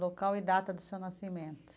Local e data do seu nascimento.